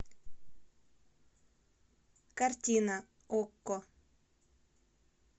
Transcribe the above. картина окко